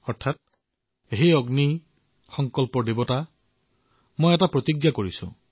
অৰ্থাৎ হে অগ্নি সংকল্পৰ দেৱতা মই এক প্ৰতিজ্ঞা কৰিছো